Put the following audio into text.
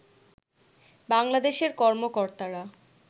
বাংলাদেশের কর্মকর্তারা